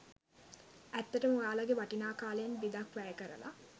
ඇත්තටම ඔයාලගේ වටිනා කාලයෙන් බිඳක් වැය කරලා